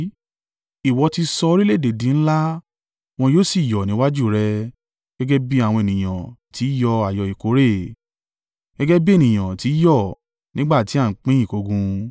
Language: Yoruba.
Ìwọ ti sọ orílẹ̀-èdè di ńlá; wọ́n sì yọ̀ níwájú rẹ gẹ́gẹ́ bí àwọn ènìyàn ti í yọ ayọ̀ ìkórè, gẹ́gẹ́ bí ènìyàn ti í yọ̀ nígbà tí à ń pín ìkógun.